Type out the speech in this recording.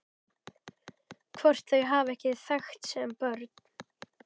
Hvort þau hafi ekki þekkst sem börn?